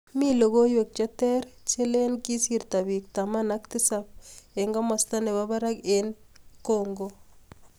Mii logoiwek cheter chelen kisirto pik taman ak tisap masta nepo parak ing Congo.